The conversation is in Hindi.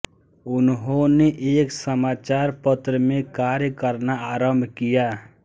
उन्होंने एक समाचार पत्र में कार्य करना आरम्भ किया